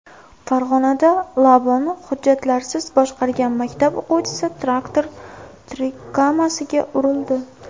Farg‘onada Labo‘ni hujjatlarsiz boshqargan maktab o‘quvchisi traktor tirkamasiga urildi.